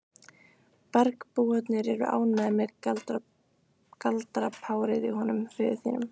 Bergbúarnir eru ekki ánægðir með galdrapárið í honum föður þínum.